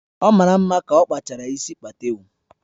Ọ mara mma ka okpachara isi patewo